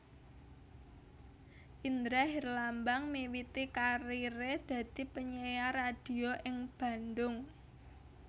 Indra Herlambang miwiti kariré dadi penyiar radio ing Bandung